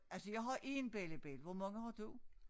Altså jeg har 1 bellibelli hvor mange har du?